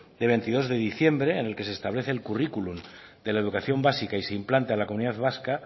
de veintidós de diciembre en el que se establece el curriculum de la educación básica y su implanta en la comunidad vasca